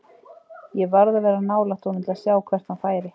Ég varð að vera nálægt honum til að sjá hvert hann færi.